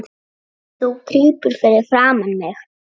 Þú krýpur fyrir framan mig.